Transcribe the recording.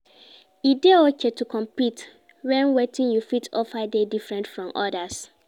E de okay to compete when wetin you fit offer dey different from others